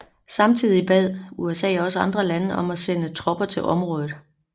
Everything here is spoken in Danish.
Samtidig bad USA andre lande sende tropper til området